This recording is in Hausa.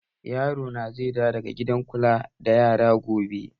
Yaro na zai dawo daga gidan kula da yara gobe